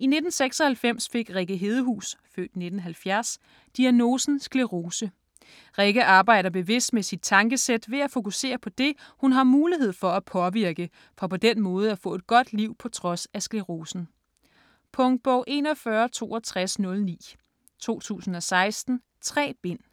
I 1996 fik Rikke Hedehus (f. 1970) diagnosen sclerose. Rikke arbejder bevidst med sit tankesæt ved at fokusere på det, hun har mulighed for at påvirke, for på den måde at få et godt liv på trods af sklerosen. Punktbog 416209 2016. 3 bind.